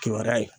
Kibaruya ye